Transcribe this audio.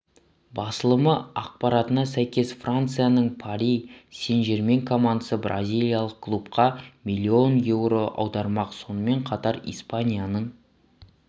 басылымы ақпаратына сәйкес францияның пари сен жермен командасы бразилиялық клубқа миллион еуро аудармақ сонымен қатар испанияның